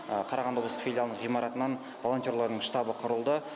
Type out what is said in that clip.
қарағанды облыстық филиалының ғимаратынан волонтерлардың штабы құрылды